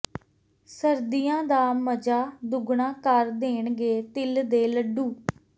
ਸਰਦੀਆਂ ਦਾ ਮਜ਼ਾ ਦੁਗਣਾ ਕਰ ਦੇਣਗੇ ਤਿਲ ਦੇ ਲੱਡੂ